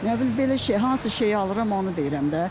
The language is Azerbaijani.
Nə bilim, belə şey, hansı şeyi alıram onu deyirəm də.